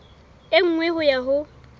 e nngwe ho ya ho